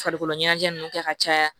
Farikolo ɲɛnajɛ nunnu kɛ ka caya